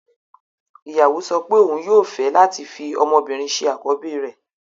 Ìyàwó sọ pé òun yóò fẹ́ láti fi ọmọbìnrin ṣe àkọ́bí rẹ̀